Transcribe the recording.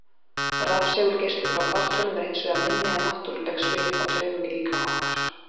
Rafsegulgeislun frá fartölvum er hins vegar minni en náttúruleg svið á taugum í líkama okkar.